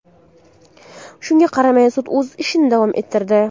Shunga qaramay, sud o‘z ishini davom ettirdi.